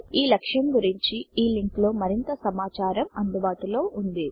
ఈ లక్ష్యం గురించి httpspoken tutorialorgNMEICT Intro లింక్ లో మరింత సమాచారము అందుబాటులో ఉన్నది